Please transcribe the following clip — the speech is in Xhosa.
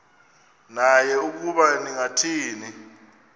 naye ukuba ningathini